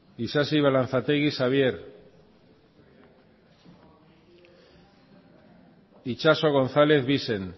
isasi balanzategi xabier itxaso gonzález bixen